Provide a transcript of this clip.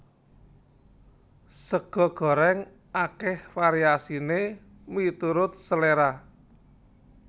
Sega gorèng akèh variasiné miturut seléra